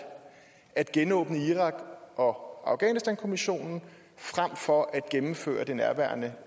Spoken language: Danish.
at genåbne irak og afghanistankommissionen frem for at gennemføre det nærværende